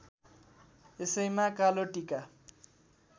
यसैमा कालो टीका